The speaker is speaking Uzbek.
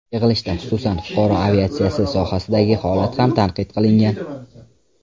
Yig‘ilishda, xususan, fuqaro aviatsiyasi sohasidagi holat ham tanqid qilingan.